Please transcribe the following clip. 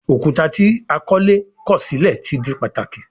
Òkúta tí akọ́lé kọ̀ sílẹ̀ ti di pàtàkì